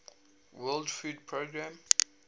world food programme